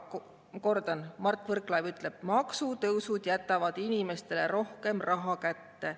Kordan, Mart Võrklaev ütleb, et maksutõusud jätavad inimestele rohkem raha kätte.